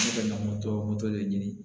Ne bɛ na moto moto de ɲini